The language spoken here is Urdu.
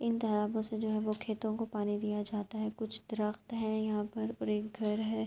ان تالابو سے جو ہے وو کھیتو کو پانی دیا جاتا ہے۔ کچھ درخت ہے یہاں پر اور ایک گھر ہے۔